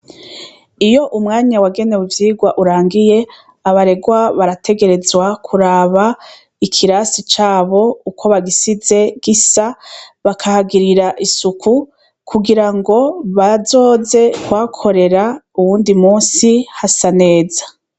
Iyo umwanya wagene mu vyirwa urangiye abaregwa barategerezwa kuraba ikirasi cabo uko bagisize gisa bakahagirira isuku kugira ngo bazoze kwakorera uwundi musi hasa neza.